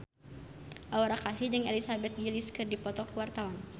Aura Kasih jeung Elizabeth Gillies keur dipoto ku wartawan